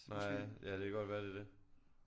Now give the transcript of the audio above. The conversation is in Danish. Nej ja det kan godt være det er det